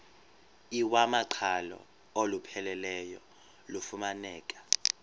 iwamaqhalo olupheleleyo lufumaneka